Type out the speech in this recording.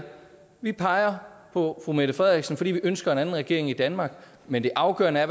vi peger på fru mette frederiksen fordi vi ønsker en anden regering i danmark men det afgørende er